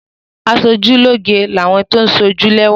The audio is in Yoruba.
Aṣojúlóge ni àwọn tó ń sójú lẹ́wà.